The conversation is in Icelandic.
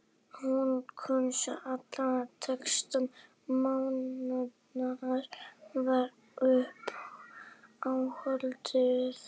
Hún kunni allan textann, Madonna var uppáhaldið hennar, Madonna